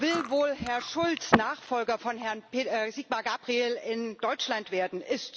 Will Herr Schulz wohl Nachfolger von Herrn Sigmar Gabriel in Deutschland werden?